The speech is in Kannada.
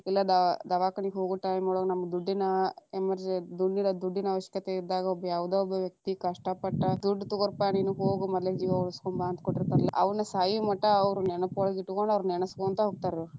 ಇಲ್ಲಾ ದ~ ದವಾಕಾನಿಗ ಹೋಗೊ time ಒಳಗ ನಮ್ಮ ದುಡ್ಡಿನ emer~ ದುಡ್ಡಿರೊ ದುಡ್ಡಿನ ಅವಶ್ಯಕತೆ ಇದ್ದಾಗ ಒಬ್ಬ ಯಾವದ ಒಬ್ಬ ವ್ಯಕ್ತಿ ಕಷ್ಟ ಪಟ್ಟ ದುಡ್ಡ ತಗೋಪಾ೯ ನೀನ, ಹೋಗ ಮದಲೇಕ ಜೀವಾ ಉಳಸ್ಕೊಂಡಬಾ ಅಂತ ಕೊಟ್ಟಿತಾ೯ರಲ್ಲಾ ಅವ್ರೀಗ ಸಾಯುಮಟಾ ಅವ್ರ ನೆನಪೊಳಗ ಇಟಗೊಂಡ ನೆನಸಕೊಂತ ಹೋಗ್ತಾರ್ರಿ.